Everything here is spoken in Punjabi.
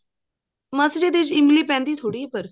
ਇਹਦੇ ਚ ਇਮਲੀ ਪੈਂਦੀ ਥੋੜੀ ਆ ਪਰ